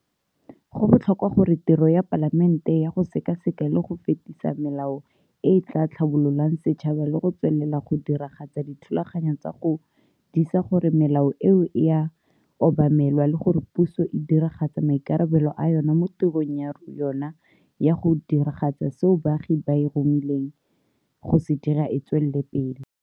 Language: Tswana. Go botlhokwa gore tiro ya Palamente ya go sekaseka le go fetisa melao e e tla tlhabololang setšhaba le go tswelela go diragatsa dithulaganyo tsa go disa gore melao eo e a obamelwa le gore puso e diragatsa maikarabelo a yona mo tirong ya yona ya go diragatsa seo baagi ba e romileng go se dira e tswela pele.